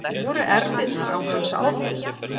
Voru erfðirnar á hans ábyrgð?